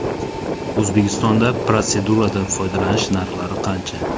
O‘zbekistonda protseduradan foydalanish narxlari qancha?